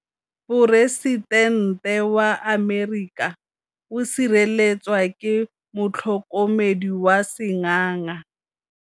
Poresitêntê wa Amerika o sireletswa ke motlhokomedi wa sengaga.